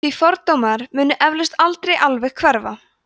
því fordómar munu eflaust aldrei alveg hverfa